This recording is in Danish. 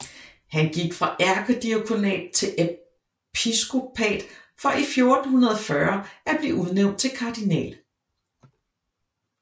Han gik fra ærkediakonat til episkopat for i 1440 at blive udnævnt til kardinal